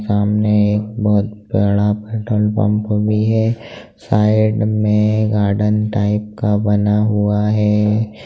सामने एक बहुत बड़ा पट्रोल पंप भी है। साइड में गार्डन टाइप का बना हुआ है।